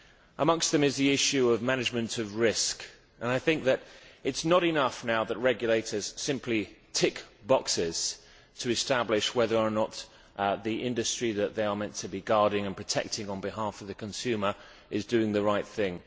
Amongst them is the issue of management of risk. I think it is not enough now that regulators simply tick boxes to establish whether or not the industry that they are meant to be guarding and protecting on behalf of the consumer is doing the right thing.